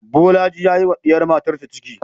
Bolaji ya yi wa diyar matarsa ciki